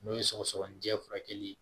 N'o ye sɔgɔsɔgɔni jɛ furakɛli ye